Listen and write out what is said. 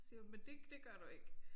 Siger hun men det det gør du ikke